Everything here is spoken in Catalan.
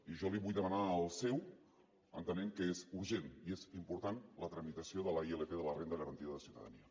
i jo li vull demanar el seu entenent que és urgent i és important la tramitació de la ilp de la renda garantida de ciutadania